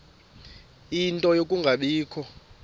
ie nto yokungabikho